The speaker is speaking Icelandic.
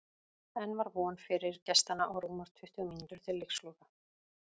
Enn var von fyrir gestanna og rúmar tuttugu mínútur til leiksloka.